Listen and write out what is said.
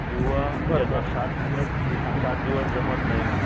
किंवा सात दिवस सात दिवस जमत नाही